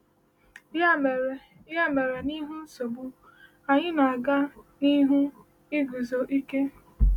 Ya mere, Ya mere, n’ihu nsogbu, anyị na-aga n’ihu iguzo ike.